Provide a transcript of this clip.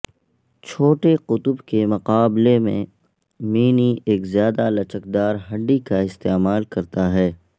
چھوٹے قطب کے مقابلے میں مینی ایک زیادہ لچکدار ہڈی کا استعمال کرتا ہے